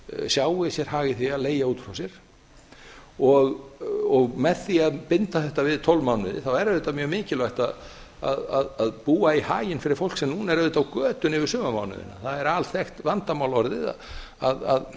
sjái sér hag í því að leigja út frá sér og með því að binda þetta við tólf mánuði þá er auðvitað mjög mikilvægt að búa í haginn fyrir fólk sem núna er auðvitað á götunni yfir sumarmánuðina það er alþekkt vandamál orðið að